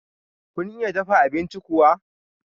Kun iya dafa abincin kuwa?